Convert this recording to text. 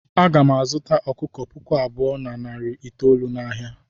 Aga m azụta ọkụkọ puku abụọ na narị itoolu n'ahịa.